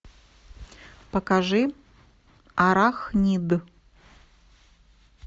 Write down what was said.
покажи арахнид